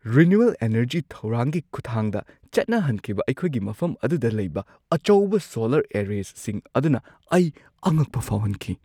Renewal energy ꯊꯧꯔꯥꯡꯒꯤ ꯈꯨꯠꯊꯥꯡꯗ ꯆꯠꯅꯍꯟꯈꯤꯕ ꯑꯩꯈꯣꯏꯒꯤ ꯃꯐꯝ ꯑꯗꯨꯗ ꯂꯩꯕ ꯑꯆꯧꯕ ꯁꯣꯂꯔ ꯑꯦꯔꯔꯦꯁꯤꯡ ꯑꯗꯨꯅ ꯑꯩ ꯑꯉꯛꯄ ꯐꯥꯎꯍꯟꯈꯤ ꯫